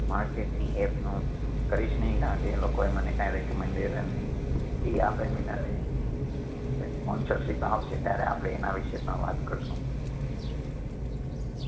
market ની app નું કરીશ નઈ કારણ કે એ લોકોએ મને કઈ recommendation ની ફી આપેલી નથી એ sponsorship આવશે ત્યારે આપડે એના વિશે પણ વાત કરશું.